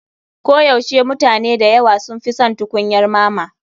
Koyaushe mutane da yawa sun fi son tukunyar mama.